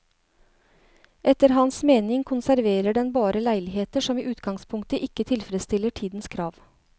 Etter hans mening konserverer den bare leiligheter som i utgangspunktet ikke tilfredsstiller tidens krav.